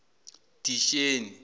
disheni